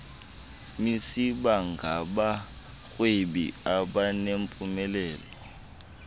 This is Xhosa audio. nisiba ngabarhwebi abanempumelelo